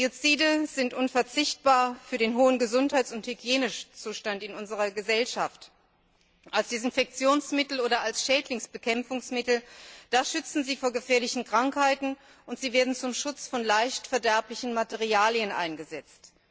Biozide sind unverzichtbar für den hohen Gesundheits und Hygienezustand in unserer Gesellschaft. Als Desinfektions oder Schädlingsbekämpfungsmittel schützen sie vor gefährlichen Krankheiten und werden zum Schutz von leicht verderblichen Materialien eingesetzt.